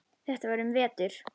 Þetta var um vetur.